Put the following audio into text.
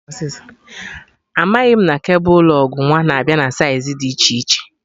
Amaghị m na kebul lụg nwa na-abịa na saiz dị iche iche